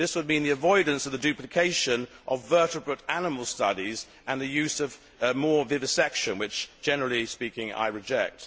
This would mean the avoidance of duplication of vertebrate animal studies and the use of more vivisection which, generally speaking, I reject.